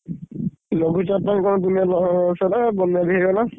ଲଘୁଚାପ ରେ କଣ ଦୁନିଆ ଲସ ହେଲା ବନ୍ୟା ବି ହେଇଗଲା।